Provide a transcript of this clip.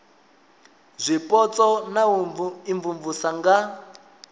zwipotso na u imvumvusa nga